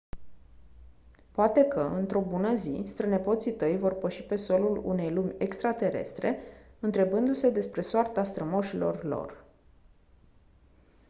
poate că într-o bună zi strănepoții tăi vor păși pe solul unei lumi extraterestre întrebându-se despre soarta strămoșilor lor